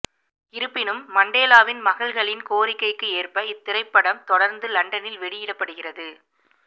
இருப்பினும் மண்டேலாவின் மகள்களின் கோரிக்கைக்கு ஏற்ப இத் திரைப்படம் தொடர்ந்து லண்டனில் வெளியிடப்படுகிறது